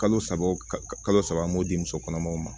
Kalo saba kalo saba an b'o di musokɔnɔmaw ma